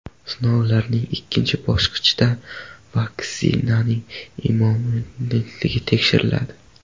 Sinovlarning ikkinchi bosqichida vaksinaning immunogenligi tekshiriladi.